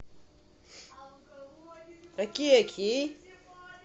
окей окей